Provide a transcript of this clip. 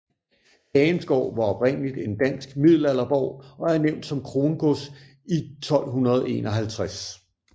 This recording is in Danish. Hagenskov var oprindeligt en dansk middelalderborg og er nævnt som krongods i 1251